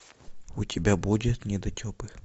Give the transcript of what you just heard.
у тебя будет недотепы